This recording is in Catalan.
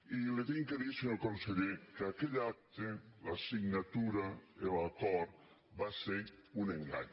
i li he de dir senyor conseller que aquell acte la signatura l’acord va ser un engany